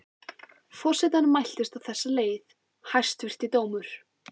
Forsetanum mæltist á þessa leið: Hæstvirti dómur!